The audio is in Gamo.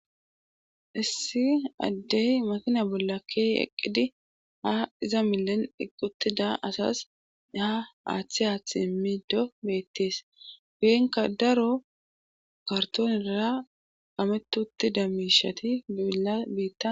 issi addey makina bolla ke eqqidi ha iza milen iqutida asas aha aaththi aaththi immido beettees biyenka daro kartoonira ametutti da miishati bibila biitta